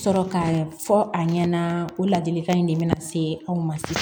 Sɔrɔ ka fɔ a ɲɛna o ladilikan in de bɛna se aw ma